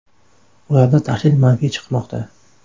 Ularda tahlil manfiy chiqmoqda.